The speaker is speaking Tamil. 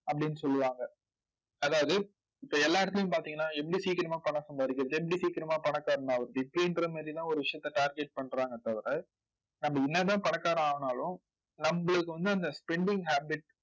அப்படின்னு சொல்லுவாங்க. அதாவது இப்ப எல்லா இடத்திலயும் பார்த்தீங்கன்னா எப்படி சீக்கிரமா பணம் சம்பாதிக்கிறது எப்படி சீக்கிரமா பணக்காரனாவறது இப்படின்ற மாதிரி எல்லாம் ஒரு விஷயத்த target பண்றாங்களே தவிர நம்ம என்னதான் பணக்காரன் ஆனாலும் நம்மளுக்கு வந்து அந்த spending habit